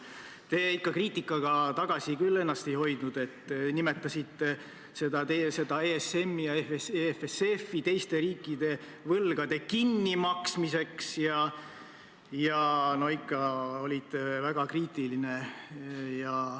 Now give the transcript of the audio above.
Tookord te küll ennast tagasi ei hoidnud – nimetasite ESM-i ja EFSF-i teiste riikide võlgade kinnimaksmiseks ja olite ikka väga kriitiline.